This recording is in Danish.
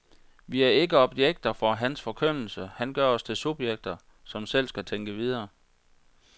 Vi er ikke objekter for hans forkyndelse, han gør os til subjekter, som selv skal tænke videre.